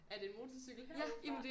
Er det en motorcykel herude fra